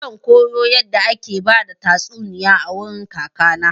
Zan koyo yadda ake bada tastuniya a wurin kaka na.